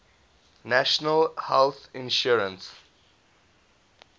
national health insurance